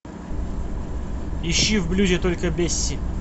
ищи в блюзе только бесси